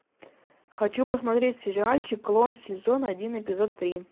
хочу посмотреть сериальчик клон сезон один эпизод три